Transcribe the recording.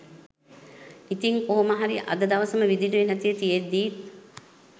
ඉතින් කොහොමහරි අද දවසම විදුලිය නැතිව තියෙද්දීත්